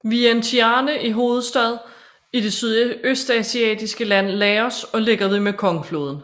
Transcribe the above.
Vientiane er hovedstad i det sydøstasiatiske land Laos og ligger ved Mekongfloden